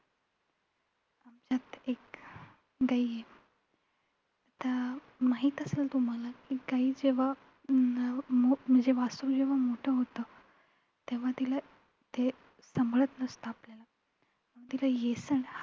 त्यात एक गाई आत्ता माहित असेल तुम्हाला की गाई जेव्हा म्हण म्हणजे वासरू जेव्हा मोठं होत. तेव्हा तिला ते सांभाळत नसतं आपल्याला तिला येसन